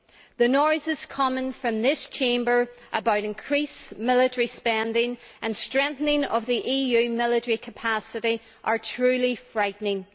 The noises coming from this Chamber about increased military spending and strengthening of the EU military capacity are truly frightening.